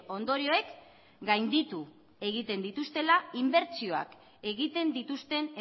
ondorioek gainditu egiten dituztela inbertsioak egiten dituzten